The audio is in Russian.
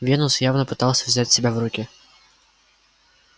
венус явно пытался взять себя в руки